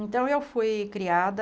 Então eu fui criada...